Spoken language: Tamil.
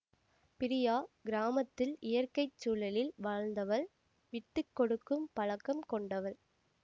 பிரியா கிராமத்தில் இயற்கை சூழலில் வாழ்ந்தவள் விட்டு கொடுக்கும் பழக்கம் கொண்டவள்